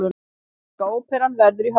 Íslenska óperan verður í Hörpu